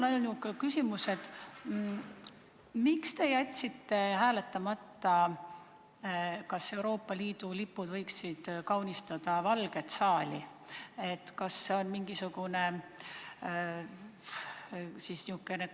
Aga miks te jätsite hääletamata küsimuse puhul, kas Euroopa Liidu lipud võiksid kaunistada Valget saali?